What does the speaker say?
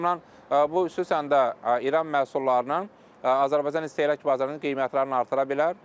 O baxımdan bu xüsusən də İran məhsullarının Azərbaycan istehlak bazarının qiymətlərini artıra bilər.